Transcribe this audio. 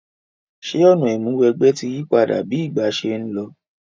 Sè ọ̀nà ìmúniwẹgbẹ́ ti yípadà bi ìgbà se n lo?